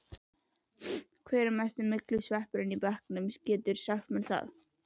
Hver er mesti myglusveppurinn í bekknum, geturðu sagt mér það?